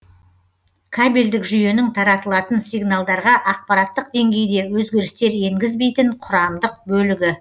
кабельдік жүйенің таратылатын сигналдарға ақпараттық деңгейде өзгерістер енгізбейтін құрамдық бөлігі